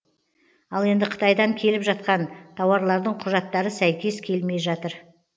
ал енді қытайдан келіп жатқан тауарлардың құжаттары сәйкес келмей жатыр